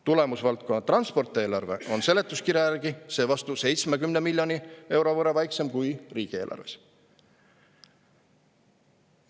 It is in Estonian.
Tulemusvaldkonna "Transport" eelarve on seletuskirja järgi seevastu 70 miljoni euro võrra väiksem kui riigieelarves.